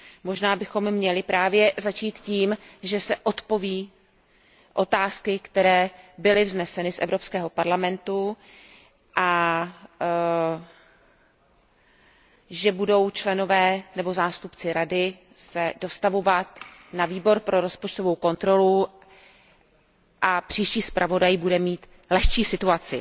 Možná bychom měli právě začít tím, že se odpoví na otázky, které byly vzneseny z Evropského parlamentu a že se členové nebo zástupci Rady budou dostavovat na Výbor pro rozpočtovou kontrolu a příští zpravodaj bude mít lehčí situaci.